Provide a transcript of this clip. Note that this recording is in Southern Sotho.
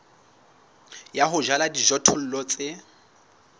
ya ho jala dijothollo tse